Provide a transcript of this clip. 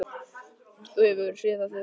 Þú hefur séð það er það ekki?